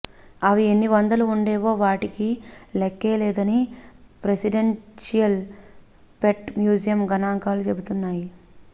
అవి ఎన్ని వందలు ఉండేవో వాటి లెక్కే లేదని ప్రెసిడెన్షియల్ పెట్ మ్యూజియం గణాంకాలు చెబుతున్నాయి